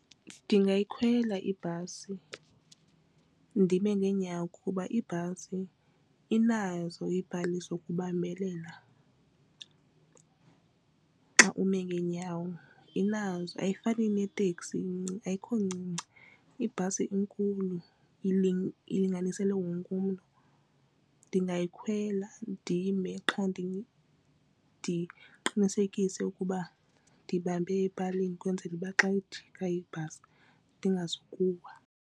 Ndingakhwela ibhasi ndime ngeenyawo kuba ibhasi inazo iipali zokubambelela xa ume ngeenyawo. Inazo ayifani neteksi ayikho ncinci ibhasi inkulu ilinganiselwe wonke umntu. Ndingayikhwela ndime qha ke ndiqinisekise ukuba ndibambe epalini ukwenzela uba xa ijika ibhasi ndingazukuwa.